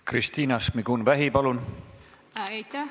Kristina Šmigun-Vähi, palun!